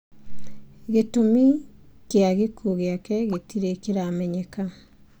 Gĩtũmi kĩa gĩkuũ gĩake gĩtirĩ kĩramenyeka.